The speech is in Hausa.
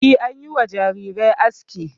E, an yi wa jarirai aski.